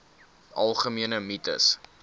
algemene mites